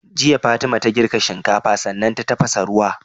Jiya fatima ta girka shinkafa sannan ta tafasa ruwa